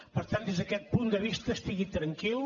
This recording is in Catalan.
per tant des d’aquest punt de vista estigui tranquil